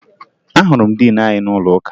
Ahụrụ m diin anyị n'ụlọụka